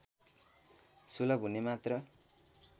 सुलभ हुने मात्र